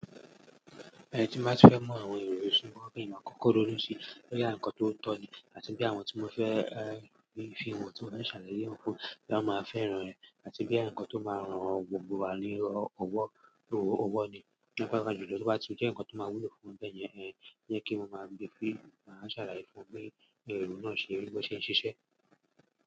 Ẹni tí máa ń fẹ́ mọ àwọn èrò ìṣúná bí ìmá kókó ló lójú ṣe, pé yàǹ kan tó tọ́ ni àti bí àwọn tí mo fẹ́ fi ìwọ̀n tí mo fẹ́ ṣàlàyé òun fún, kí wọ́n máa fẹ́ràn rẹ̀ àti bí ẹ̀ǹkan tó máa ran gbogbo wa ní ọwọ́, owó ni. Nígbà tí gbogbo tó bá ti jẹ́ ǹkan tó máa wúlo fún ń bẹ́ẹ̀ yẹn, yẹ kí n máa gbé e fi ṣàlàyé fún ọ pé èrò náà ṣe, bí ó ṣe ń ṣiṣẹ́.